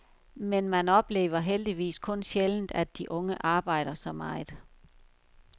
Men man oplever heldigvis kun sjældent, at de unge arbejder så meget.